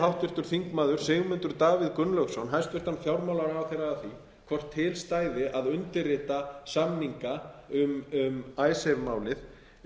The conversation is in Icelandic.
háttvirtur þingmaður sigmundur davíð gunnlaugsson hæstvirtur fjármálaráðherra að því hvort til stæði að undirrita samninga um icesave málið